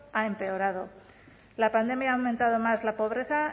ha empeorado la pandemia ha aumentado más la pobreza